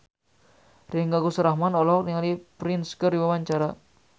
Ringgo Agus Rahman olohok ningali Prince keur diwawancara